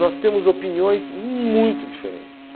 Nós temos opiniões muito diferentes.